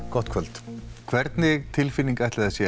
gott kvöld hvernig tilfinning ætli það sé